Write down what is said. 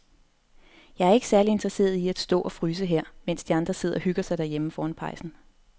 Jeg er ikke særlig interesseret i at stå og fryse her, mens de andre sidder og hygger sig derhjemme foran pejsen.